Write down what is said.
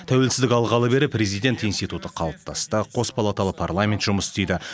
тәуелсіздік алғалы бері президент институты қалыптасты қос палаталы парламент жұмыс істейді